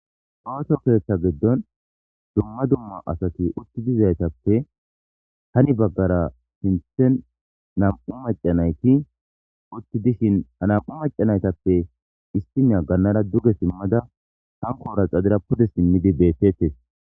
Ooso keetha giddon dumma dumma asati utti dazaytappe hini baggaara sinthen nam''u macca nayti utti dishin ha nam''u naytappe issiniya gannaara duge simmada hankora xadeera pude simmidi beettetes.